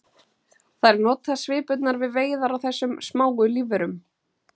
þær nota svipurnar við veiðar á þessum smáu lífverum